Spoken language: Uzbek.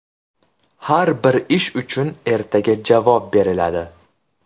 Har bir ish uchun ertaga javob beriladi.